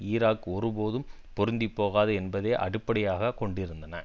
Iraq ஒருபோதும் பொருந்திப்போகாது என்பதை அடிப்படையாக கொண்டிருந்தன